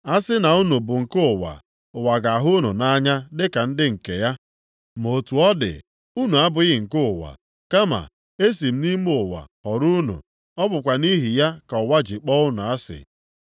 A sị na unu bụ nke ụwa, ụwa ga-ahụ unu nʼanya dịka ndị nke ya. Ma otu ọ dị unu abụghị nke ụwa. Kama, esi m nʼime ụwa họrọ unu. Ọ bụkwa nʼihi ya ka ụwa ji akpọ unu asị.